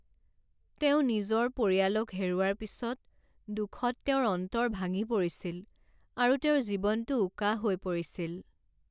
তেওঁ নিজৰ পৰিয়ালক হেৰুওৱাৰ পিছত, দুখত তেওঁৰ অন্তৰ ভাঙি পৰিছিল আৰু তেওঁৰ জীৱনটো উকা হৈ পৰিছিল।